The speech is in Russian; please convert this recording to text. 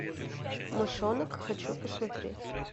мышонок хочу посмотреть